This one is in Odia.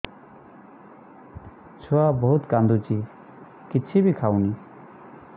ଛୁଆ ବହୁତ୍ କାନ୍ଦୁଚି କିଛିବି ଖାଉନି